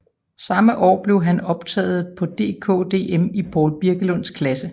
Samme år blev han optaget på DKDM i Poul Birkelunds klasse